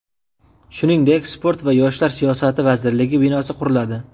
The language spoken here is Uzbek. Shuningdek, sport va yoshlar siyosati vazirligi binosi quriladi.